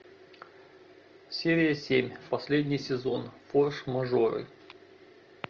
серия семь последний сезон форс мажоры